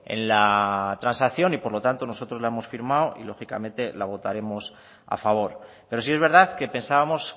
en la transacción y por lo tanto nosotros la hemos firmado y lógicamente la votaremos a favor pero sí es verdad que pensábamos